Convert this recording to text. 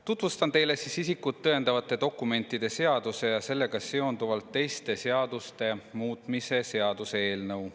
Tutvustan teile isikut tõendavate dokumentide seaduse ja sellega seonduvalt teiste seaduste muutmise seaduse eelnõu.